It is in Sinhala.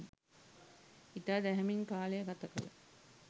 ඉතා දැහැමින් කාලය ගත කළ